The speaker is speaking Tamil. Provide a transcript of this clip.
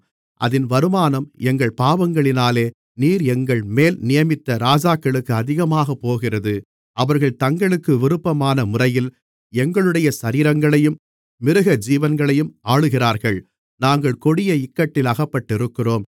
அதின் வருமானம் எங்கள் பாவங்களினாலே நீர் எங்கள்மேல் நியமித்த ராஜாக்களுக்கு அதிகமாக போகிறது அவர்கள் தங்களுக்கு விருப்பமான முறையில் எங்களுடைய சரீரங்களையும் மிருக ஜீவன்களையும் ஆளுகிறார்கள் நாங்கள் கொடிய இக்கட்டில் அகப்பட்டிருக்கிறோம்